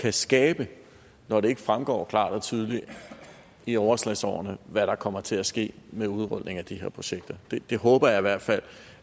kan skabe når det ikke fremgår klart og tydeligt i overslagsårene hvad der kommer til at ske med udrulningen af de her projekter jeg håber i hvert fald